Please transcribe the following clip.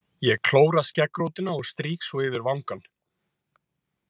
Ég klóra skeggrótina og strýk svo yfir vangann.